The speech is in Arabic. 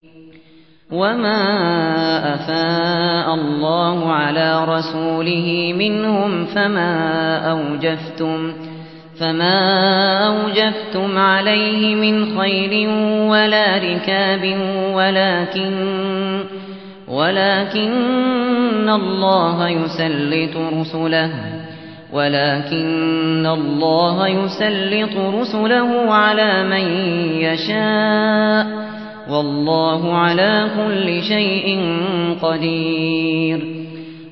وَمَا أَفَاءَ اللَّهُ عَلَىٰ رَسُولِهِ مِنْهُمْ فَمَا أَوْجَفْتُمْ عَلَيْهِ مِنْ خَيْلٍ وَلَا رِكَابٍ وَلَٰكِنَّ اللَّهَ يُسَلِّطُ رُسُلَهُ عَلَىٰ مَن يَشَاءُ ۚ وَاللَّهُ عَلَىٰ كُلِّ شَيْءٍ قَدِيرٌ